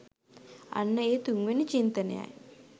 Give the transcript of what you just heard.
අන්න ඒ තුන්වෙනි චින්තනයයි